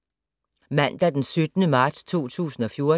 Mandag d. 17. marts 2014